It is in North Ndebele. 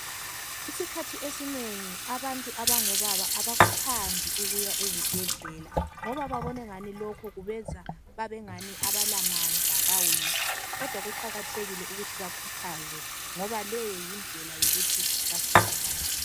Isikhathi esinengi abantu abangobaba abakuthandi ukuya ezibhedlela, ngoba babonengani lokhu kubenza babengani abalamandla baweak. Kodwa kuqakathekile ukuthi bakhuthazwe ngoba leyo yindlela yokuthi basizakale.